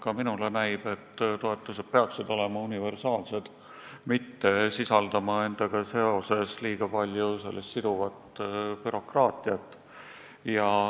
Ka minule näib, et toetused peaksid olema universaalsed, mitte sisaldama endas liiga palju siduvat bürokraatiat.